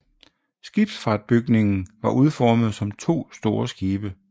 Skibsfartsbygningen var udformet som 2 store skibe